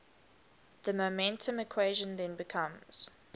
the momentum equation then becomes